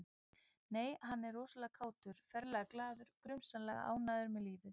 Nei, en hann er rosalega kátur, ferlega glaður, grunsamlega ánægður með lífið